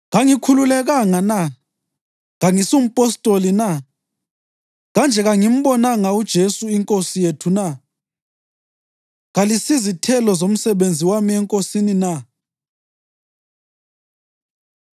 Kangikhululekanga na? Kangisumpostoli na? Kanje kangimbonanga uJesu iNkosi yethu na? Kalisizithelo zomsebenzi wami eNkosini na?